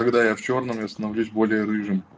когда я в чёрном я становлюсь более рыжим